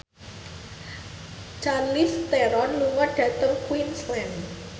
Charlize Theron lunga dhateng Queensland